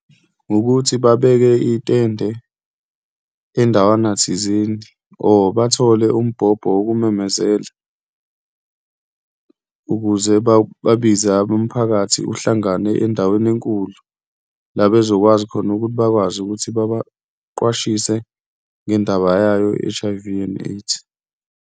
Wukuthi babeke itende endawana thizeni or bathole umbhobho wokumemezela ukuze babize abomphakathi uhlangane endaweni enkulu la bezokwazi khona ukuthi bakwazi ukuthi babaqwashiswe ngendaba yayo i-H_I_V and AIDS.